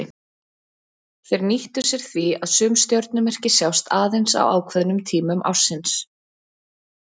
Þeir nýttu sér því að sum stjörnumerki sjást aðeins á ákveðnum tímum ársins.